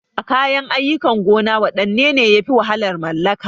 A kayan aikin gona wanne ne yafi wahalar mallaka?